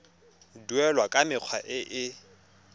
duelwa ka mekgwa e e